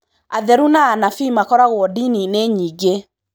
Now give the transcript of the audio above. Atheru na anabii makoragwo ndininĩ nyingĩ.